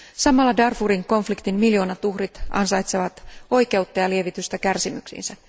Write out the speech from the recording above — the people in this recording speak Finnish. Samalla Darfurin konfliktin miljoonat uhrit ansaitsevat oikeutta ja lievitystä kärsimyksiinsä.